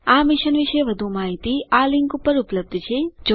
IIT Bombay તરફથી ભાષાંતર કરનાર હું કૃપાલી પરમાર વિદાય લઉં છું